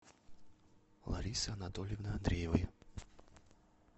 ларисы анатольевны андреевой